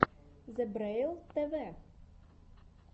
зебрэйл тв